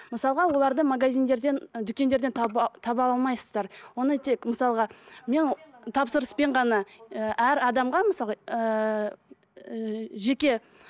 мысалға оларды магазиндерден дүкендерден таба таба алмайсыздар оны тек мысалға мен тапсырыспен ғана і әр адамға мысалға ііі жеке